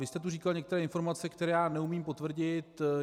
Vy jste tu říkal některé informace, které já neumím potvrdit.